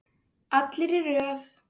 Allir í röð!